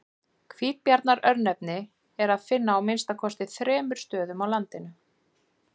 Hvítabjarnar-örnefni er að finna á að minnsta kosti þremur stöðum á landinu.